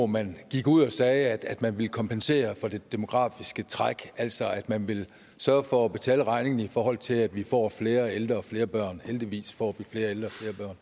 man gik ud og sagde at man ville kompensere for det demografiske træk altså at man ville sørge for at betale regningen i forhold til at vi får flere ældre og flere børn heldigvis får vi flere ældre og